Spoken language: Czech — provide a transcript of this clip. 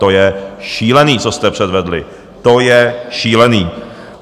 To je šílený, co jste předvedli, to je šílený.